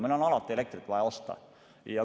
Meil on alati elektrit vaja osta.